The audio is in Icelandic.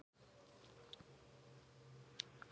Okkur kom vel saman.